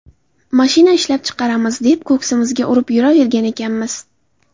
Mashina ishlab chiqaramiz, deb ko‘ksimizga urib yuravergan ekanmiz.